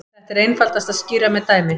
Þetta er einfaldast að skýra með dæmi.